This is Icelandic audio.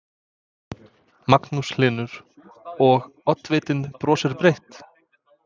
Magnús Hlynur: Og, oddvitinn brosir breytt?